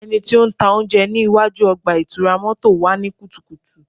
Ẹniti o ntaa ounjẹ ni iwaju ọgba-itura mọto wa ni kutukutu